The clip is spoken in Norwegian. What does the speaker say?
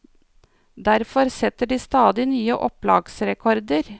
Derfor setter de stadig nye opplagsrekorder.